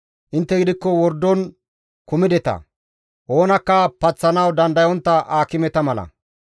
Intte gidikko wordon kumideta; oonakka paththanawu dandayontta aakimeta mala.